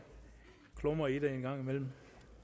klumre i det en gang imellem